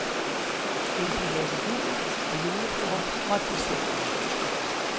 Ville de have jul og julefrokost, måtte de lave den selv.